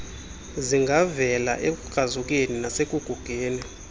zingavela ekukrazukeni nasekugugeni